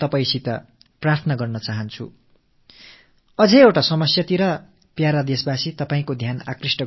மேலும் ஒரு பிரச்சனை தொடர்பாக எனதருமை நாட்டுமக்களே நான் உங்கள் கவனத்தைத் திருப்ப விரும்புகிறேன்